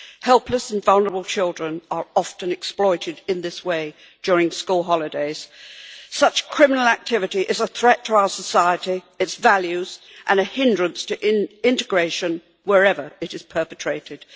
Helpless and vulnerable children are often exploited in this way during school holidays. Such criminal activity is a threat to our society and its values and is a hindrance to integration, wherever it is perpetrated.